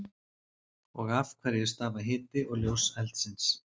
Og af hverju stafa hiti og ljós eldsins?